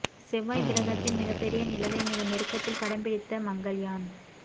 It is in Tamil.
செவ்வாய் கிரகத்தின் மிகப்பெரிய நிலவை மிக நெருக்கத்தில் படம் பிடித்த மங்கல்யான்